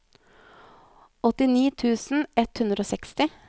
åttini tusen ett hundre og seksti